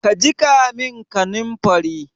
Ka jiƙa min kaninfari?